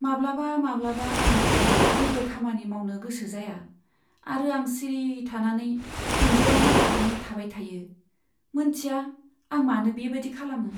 माब्लाबा माब्लाबा आं जेबो खामानि मावनो गोसो जाया आरो आं सिरि थानानै इनजुराव नायहाबनानै थाबाय थायो, मोन्थिया आं मानो बेबादि खालामो।